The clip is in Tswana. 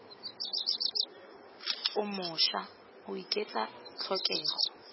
o mošwa o oketsa tlhokego